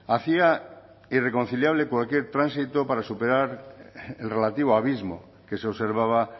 hacía irreconciliable cualquier tránsito para superar el relativo abismo que se observaba